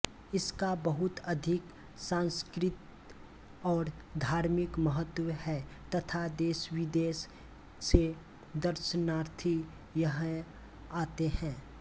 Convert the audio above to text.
इसका बहुत अधिक सांस्कृतिक और धार्मिक महत्व है तथा देशविदेश से दर्शनार्थी यहं आते हैं